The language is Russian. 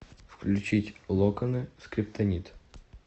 включить локоны скриптонит